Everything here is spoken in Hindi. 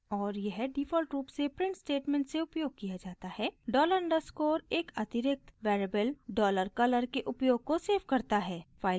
और यह डिफ़ॉल्ट रूप से प्रिंट स्टेटमेंट से उपयोग किया जाता है $_ डॉलर अंडरस्कोर एक अतिरिक्त वेरिएबल $color के उपयोग को सेव करता है